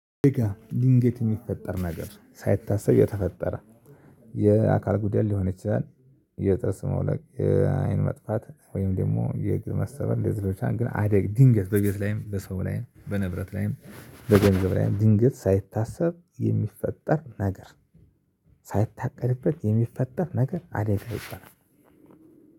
ድንገት የሚፈጠር ነገር ሳይታሰብ የተፈጠረ የአካል ጉዳት ሊሆን ይችላል። የጥርስ መውለቅ የአይን መጥፋት ወይም ደግሞ የግር መሰበር የዝሮቻን ግን አደግ ድንገት በግልጽ ላይም በሰው ላይም በንብረት ላይም በገንዘብ ላይም ድንገት ሳይታሰብ የሚፈጠር ነገር ሳይታቀድበት የሚፈጠር ነገር አደጋ ይባላል።